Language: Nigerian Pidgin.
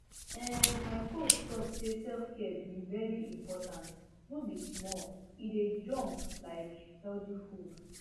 ehn my coach talk say selfcare be very important no be small e dey jom like healthy food